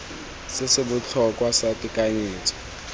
se se botlhokwa sa tekanyetso